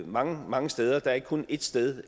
mange mange steder der er ikke kun et sted